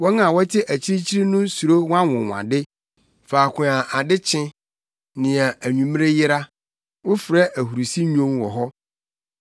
Wɔn a wɔte akyirikyiri no suro wʼanwonwade; faako a ade kye, nea anwummere yera, wofrɛ ahurusi nnwom wɔ hɔ.